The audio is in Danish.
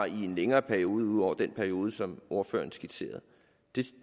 i en længere periode ud over den periode som ordføreren skitserede det